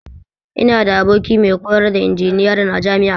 Ina da aboki mai koyar da injiniyarin a jami'a